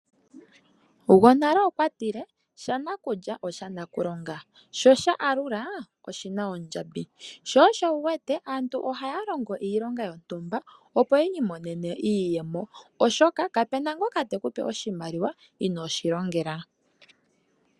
Gwonale okwa tile: "Sha nakulya osha nakulonga, sho sha alula oshi na ondjambi." Sho osho wu wete aantu ohaa longo iilonga yontumba, opo yi imonene iiyemo, oshoka kapu na ngoka te ku pe oshimaliwa inoo shi longela.